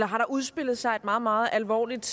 har der udspillet sig et meget meget alvorligt